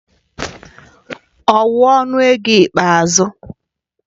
Ọ wu ọnụ ego ikpeazụ